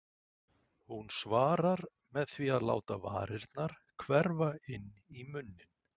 Hún svarar með því að láta varirnar hverfa inn í munninn.